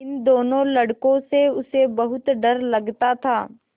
इन दोनों लड़कों से उसे बहुत डर लगता था